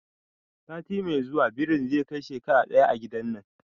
Sati mai zuwa birin zai kai shekara ɗaya a gidan nan